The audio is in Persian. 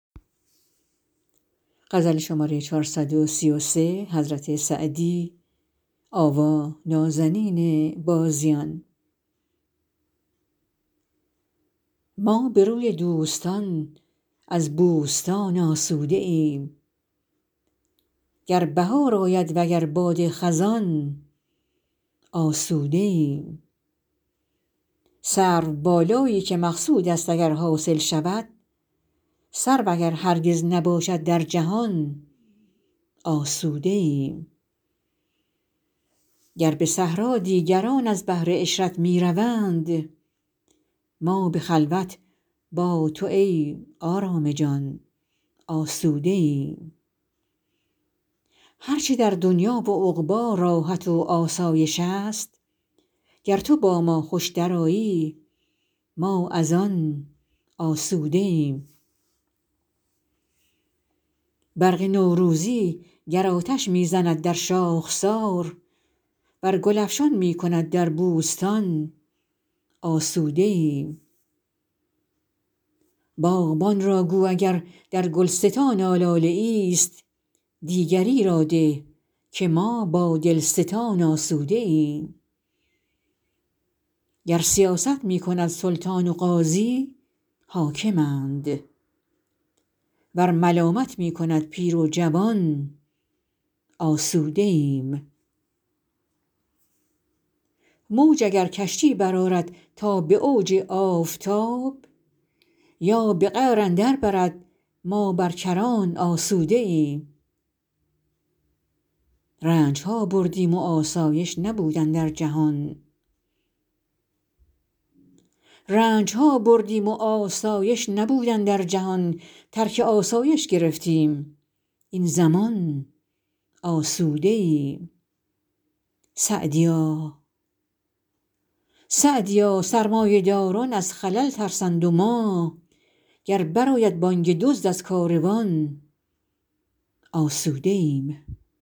ما به روی دوستان از بوستان آسوده ایم گر بهار آید وگر باد خزان آسوده ایم سروبالایی که مقصود است اگر حاصل شود سرو اگر هرگز نباشد در جهان آسوده ایم گر به صحرا دیگران از بهر عشرت می روند ما به خلوت با تو ای آرام جان آسوده ایم هر چه در دنیا و عقبی راحت و آسایش است گر تو با ما خوش درآیی ما از آن آسوده ایم برق نوروزی گر آتش می زند در شاخسار ور گل افشان می کند در بوستان آسوده ایم باغبان را گو اگر در گلستان آلاله ایست دیگری را ده که ما با دلستان آسوده ایم گر سیاست می کند سلطان و قاضی حاکمند ور ملامت می کند پیر و جوان آسوده ایم موج اگر کشتی برآرد تا به اوج آفتاب یا به قعر اندر برد ما بر کران آسوده ایم رنج ها بردیم و آسایش نبود اندر جهان ترک آسایش گرفتیم این زمان آسوده ایم سعدیا سرمایه داران از خلل ترسند و ما گر بر آید بانگ دزد از کاروان آسوده ایم